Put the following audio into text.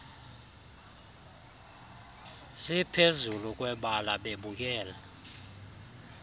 ziphezulu kwebala bebukele